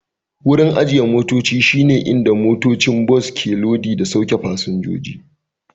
Wurin ajiye motoci shi ne inda motocin bas ke lodi da sauke fasinjoji